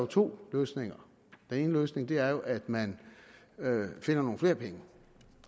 to løsninger den ene løsning er at man finder nogle flere penge